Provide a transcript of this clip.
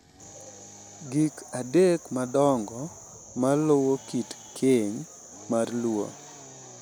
Gik adek madongo ma luwo kit keny mar Luo—